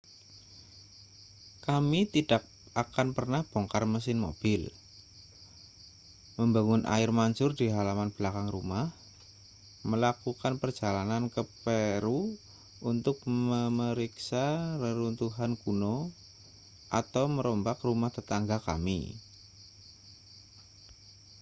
kami tidak akan pernah bongkar mesin mobil membangun air mancur di halaman belakang rumah melakukan perjalanan ke peru untuk memeriksa reruntuhan kuno atau merombak rumah tetangga kami